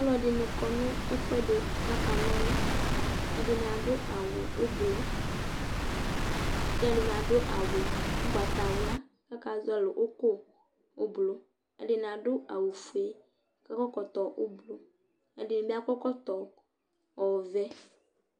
Alʋɛdìní kɔ ŋu ɛɖi kʋ akanɔlu Ɛɖìní aɖu awu ʋblue Ɛɖìní aɖu awu ugbatawla kʋ akazɔli ʋku ʋblue Ɛɖìní aɖu awu fʋe kʋ akɔ ɛkɔtɔ ʋblue Ɛɖìní bi aɖu ɛkɔtɔ ɔvɛ